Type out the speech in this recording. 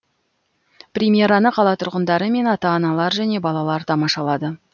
премьераны қала тұрғындары мен ата аналар және балалар тамашалады